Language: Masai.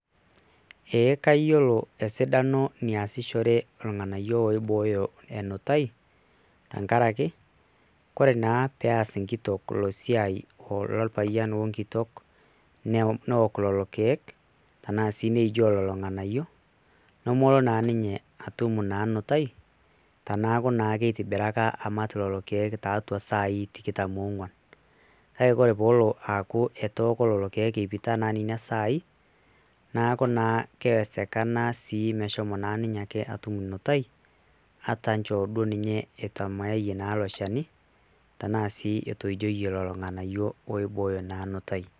ee kayiolo esidano oo lelo keek oibooyo enutai tenkaraki ore naa pees enkitok ilo siai orpayian o nkitok neok lelo keek, tenaa sii neijoo lelo nganayio nemelo naa ninye naa atum na nutai teneeku naa kitibiraka amat lelo keek tiatua saai tikitam oong'uan. kake ore peelo aok lelo keek ipita naa nena sai neeku naa keesekana pee elo ninye atum nutaui, ataa naa etamaayie naa ilo shani ,tenaa sii etoijoyie lelo ng'anayio oibooyo naa enutai.